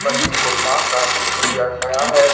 पनीर गोपाल का लिया गया है।